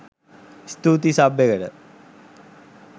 ස්තුතියි සබ් එකට